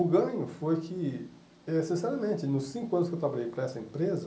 O ganho foi que, é sinceramente, nos cinco anos que eu trabalhei para essa empresa,